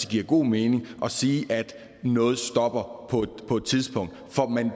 giver god mening at sige at noget stopper på et tidspunkt